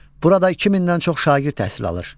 Burada 2000-dən çox şagird təhsil alır.